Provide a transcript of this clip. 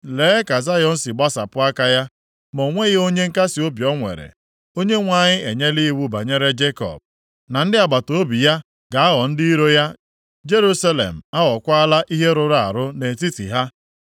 Lee ka Zayọn si gbasapụ aka ya ma o nweghị onye nkasiobi o nwere. Onyenwe anyị enyela iwu banyere Jekọb na ndị agbataobi ya ga-aghọ ndị iro ya. Jerusalem aghọkwaala ihe rụrụ arụ nʼetiti ha.